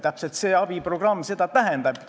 Täpselt seda see abiprogramm tähendabki.